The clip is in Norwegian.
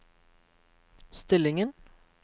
stillingen